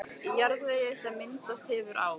Í jarðvegi, sem myndast hefur á